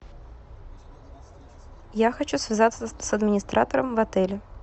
я хочу связаться с администратором в отеле